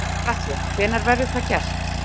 Gunnar Atli: Hvenær verður það gert?